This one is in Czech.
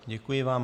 Děkuji vám.